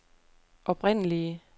oprindelige